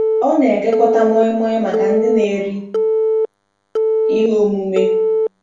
Ọ na-ekekọta moi moi maka ndị na-eri ihe omume.